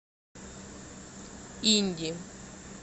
инди